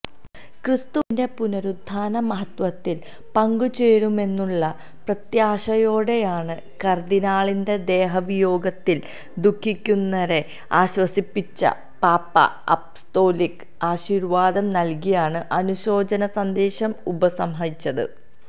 ക്രിസ്തുവിന്റെ പുനരുത്ഥാന മഹത്വത്തിൽ പങ്കുചേരുമെന്നുള്ള പ്രത്യാശയോടെയാണ് കർദിനാളിന്റെ ദേഹവിയോഗത്തിൽ ദുഃഖിക്കുന്നരെ ആശ്വസിപ്പിച്ച പാപ്പ അപ്പസ്തോലിക ആശീർവാദം നൽകിയാണ് അനുശോചനസന്ദേശം ഉപസംഹരിച്ചത്